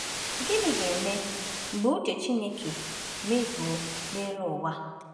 Gịnị ga-eme mgbe uche Chineke mezuo n’elu ụwa?